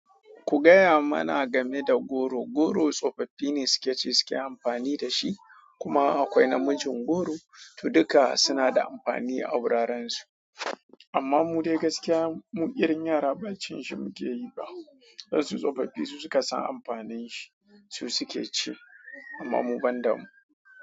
Ku gaya mana game da goro. Goro tsofaffi ne suke ci suke amfani da shi, kuma akwai namijin goro, to duka suna da amfani a wurarensu. Amma mu dai gaskiya, mu irin yara ba cin shi mu tayi ba. Irun su tsofaffi su suka san amfanin shi, su suke ci, amma mu ban da mu.